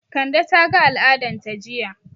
Kande ta ga al'adan ta jiya